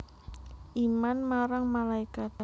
Iman marang malaikat